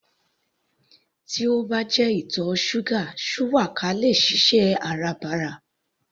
Tí ó bá jẹ ìtọ̀ ṣúgà shuwaka le è ṣiṣẹ́ Áràbarà